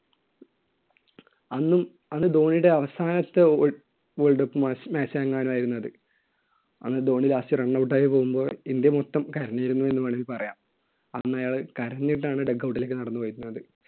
അന്നും അന്ന് ധോണിയുടെ അവസാനത്തെ world cup mat~ match എങ്ങാനും ആയിരുന്നു അത്. അന്ന് ധോണി last run out ആയി പോകുമ്പോൾ ഇന്ത്യ മൊത്തം കരഞ്ഞിരുന്നു എന്ന് വേണമെങ്കിൽ പറയാം. അന്ന് അയാൾ കരഞ്ഞിട്ടാണ് duck out ലേയ്ക്ക് നടന്നുവരുന്നത്.